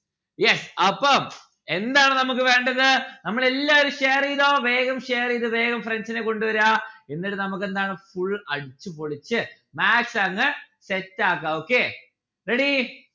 yes അപ്പം എന്താണ് നമ്മുക്ക് വേണ്ടത്? നമ്മളെല്ലാരും share എയ്‌തോ വേഗം share എയ്ത വേഗം friends നെ കൊണ്ട് വേരാ എന്നിട്ട് നമ്മുക്ക് എന്താണ് full അടിച്ചുപൊളിച്ച് maths അങ് set ആക്ക. okay ready